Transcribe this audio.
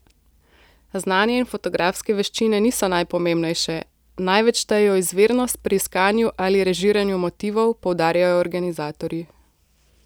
Znanje in fotografske veščine niso najpomembnejše, največ štejejo izvirnost pri iskanju ali režiranju motivov, poudarjajo organizatorji.